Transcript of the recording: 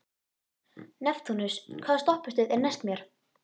Neptúnus, hvaða stoppistöð er næst mér?